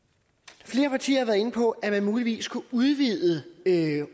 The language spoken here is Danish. flere partier har været inde på at man muligvis kunne udvide